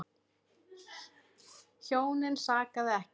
Hjónin sakaði ekki.